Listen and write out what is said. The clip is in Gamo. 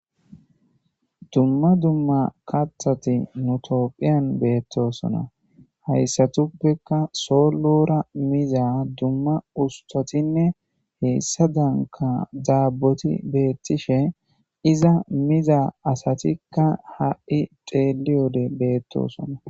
Dumma dumma kathati nutophiyan beettosona hayssatuppekka solora miza dumma ustotinne heessa danka daaboti beettishe iza miza asatikka ha'i deeli wode beettosona.